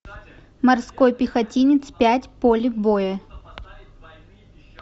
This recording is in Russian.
морской пехотинец пять поле боя